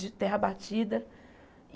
De terra batida.